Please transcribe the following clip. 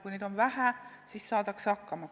Kui neid on vähe, siis saadakse hakkama.